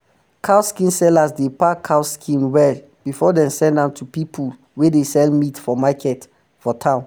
cow skin sellers dey pack cow skin well before dem send am to pipu wey dey sell meat for market for town